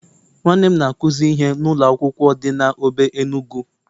Nwanne m na-akuzi ihe na ụlọ akwụkwọ di na Obe Enugu..